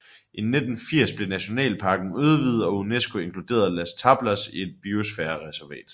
I 1980 blev nationalparken udvidet og UNESCO inkluderede Las Tablas i et Biosfærereservat